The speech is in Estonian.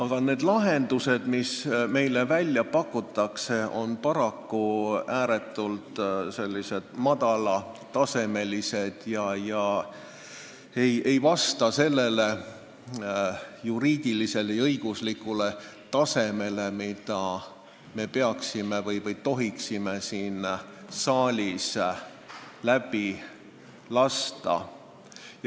... ent need lahendused, mis meile välja pakutakse, on paraku ääretult madala tasemega ega vasta sellele juriidilisele tasemele, mille korral me tohiksime eelnõu siin saalis läbi lasta.